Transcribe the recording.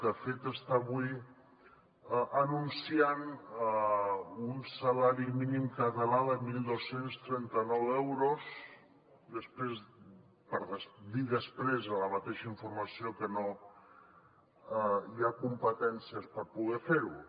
de fet està avui anunciant un salari mínim català de dotze trenta nou euros per dir després en la mateixa informació que no hi ha competències per poder fer ho